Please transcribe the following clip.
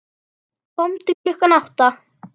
Komdu klukkan átta.